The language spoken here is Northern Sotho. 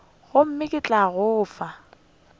gomme ke tla go fa